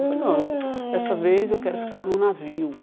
Eu falo, não, essa vez eu quero ficar no navio.